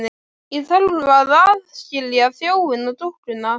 Ég þarf að aðskilja þjófinn og dúkkuna.